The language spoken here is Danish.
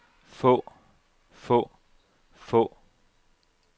få få få